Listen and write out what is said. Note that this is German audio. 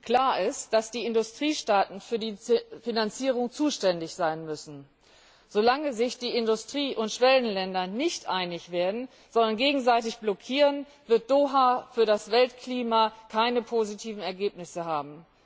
Klar ist, dass die Industriestaaten für die Finanzierung zuständig sein müssen. Solange sich die Industrie und Schwellenländer nicht einig werden, sondern gegenseitig blockieren, wird Doha für das Weltklima keine positiven Ergebnisse haben.